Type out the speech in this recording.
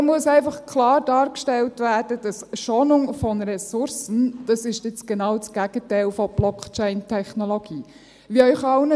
Hier muss einfach klar dargestellt werden, dass «Schonung von Ressourcen» genau das Gegenteil von Blockchain-Technologie ist.